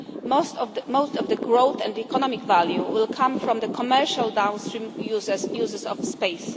Most of the growth and economic value will come from the commercial downstream uses of space.